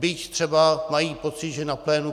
Byť třeba mají pocit, že na plénu